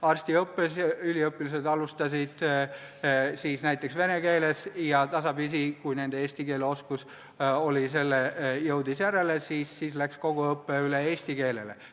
Arstiõppes alustasid üliõpilased näiteks vene keeles ja tasapisi, kui nende eesti keele oskus jõudis järele, läks kogu õpe üle eesti keelele.